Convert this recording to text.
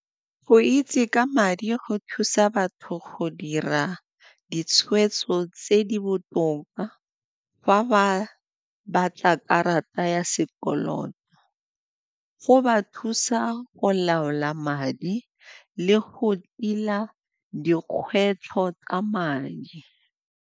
Go itse ka madi go thusa batho go dira ditshweetso tse di botoka fa ba batla karata ya sekoloto, go ba thusa go laola madi le go tila dikgwetlho tsa madi.